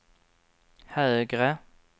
högre